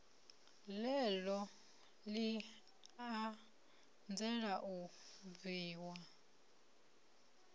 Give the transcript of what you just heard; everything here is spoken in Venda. ḽeneḽo ḽi anzela u bviwa